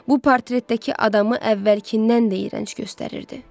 Bu portretdəki adamı əvvəlkindən də irənc göstərirdi.